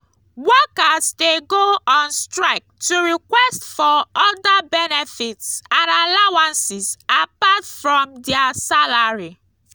workers de go on strike to request for other benefits and allowances apart from their salary